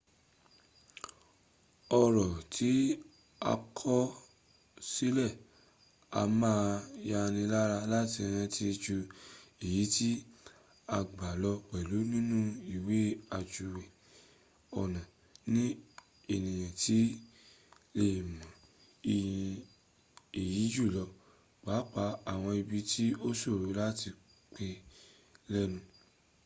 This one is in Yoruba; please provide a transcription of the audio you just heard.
ọ̀rọ̀ tí a kọ sílẹ̀ a máa yánilára láti rántí ju èyí tí a gbọ́ lọ pẹ̀lú nínú ìwe ajúwe ọnà ni ènìyàn ti le è mọ iyì èyí jùlọ pàapàá àwọn ibi tí o ṣòro láti pè lẹ́nu